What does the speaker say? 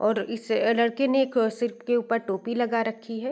और इस लड़के ने एक सीर पर एक टोपी लगा रखी है |